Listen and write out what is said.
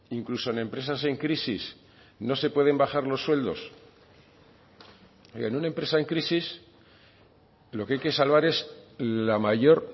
incluso en empresas en crisis no se pueden bajar los sueldos en una empresa en crisis lo que hay que salvar es la mayor